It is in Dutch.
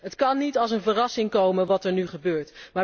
Het kan niet als een verrassing komen wat er nu gebeurt.